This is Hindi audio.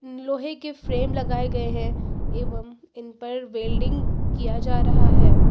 लोहे के फ्रेम लगाए गए हैं एवं इन पर वेल्डिंग किया जा रहा है।